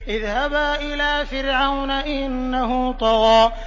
اذْهَبَا إِلَىٰ فِرْعَوْنَ إِنَّهُ طَغَىٰ